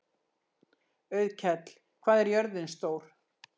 Auðkell, hvað er jörðin stór?